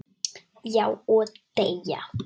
Já, og deyja